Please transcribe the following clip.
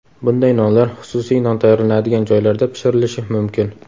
Bunday nonlar xususiy non tayyorlanadigan joylarda pishirilishi mumkin.